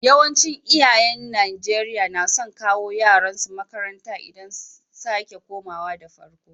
Yawancin iyayen Nijeriya na son kawo yaran su makaranta idan sake komawa da farko.